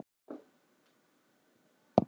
Sigurmarkið kætti mig svo sannarlega